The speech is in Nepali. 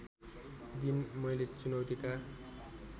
दिन मैले चुनौतीका